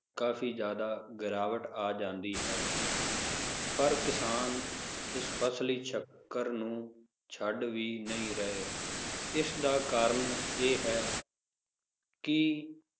ਕਾਫੀ ਜ਼ਯਾਦਾ ਗਿਰਾਵਟ ਆ ਜਾਂਦੀ ਹੈ ਪਰ ਕਿਸਾਨ ਇਸ ਫਸਲੀ ਚੱਕਰ ਨੂੰ ਛੱਡ ਵੀ ਨਹੀਂ ਰਹੇ ਇਸ ਦਾ ਕਾਰਣ ਇਹ ਹੈ ਕਿ,